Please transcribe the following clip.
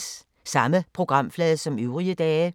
Samme programflade som øvrige dage